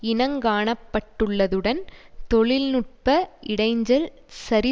இனங் காணப்பட்டுள்ளதுடன் தொழில் நுட்ப இடைஞ்சல் சரி